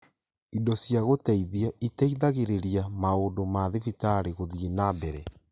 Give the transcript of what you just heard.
Indo cia gũteithi iteithagĩrĩria maũndũ ma thibitarĩ gũthiĩ na mbere